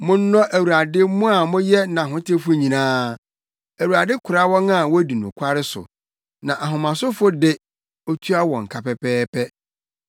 Monnɔ Awurade mo a moyɛ nʼahotewfo nyinaa! Awurade kora wɔn a wodi nokware so, na ahomasofo de, otua wɔn ka pɛpɛɛpɛ.